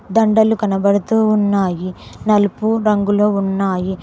దండలు కనబడుతూ ఉన్నాయి నలుపు రంగులో ఉన్నాయి